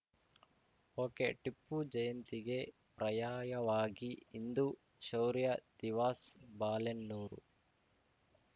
ಒಕೆಟಿಪ್ಪು ಜಯಂತಿಗೆ ಪ್ರಯಾಯವಾಗಿ ಹಿಂದೂ ಶೌರ್ಯ ದಿವಸ್‌ ಬಾಳೆನ್ನೂರು